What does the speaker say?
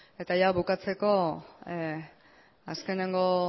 eta ia bukatzeko azkenengo